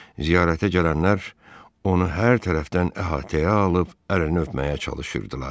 Ziyarətə gələnlər onu hər tərəfdən əhatəyə alıb əlini öpməyə çalışırdılar.